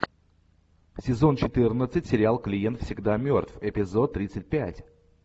сезон четырнадцать сериал клиент всегда мертв эпизод тридцать пять